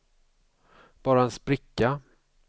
bara en spricka